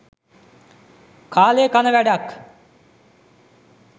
කාලේ කන වැඩක්